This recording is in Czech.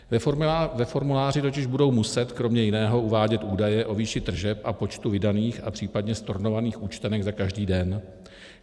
Ve formuláři totiž budou muset kromě jiného uvádět údaje o výši tržeb a počtu vydaných a případně stornovaných účtenek za každý den.